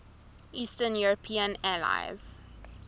eastern european allies